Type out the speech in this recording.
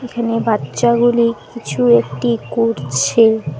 এখানে বাচ্ছাগুলি কিছু একটি করছে।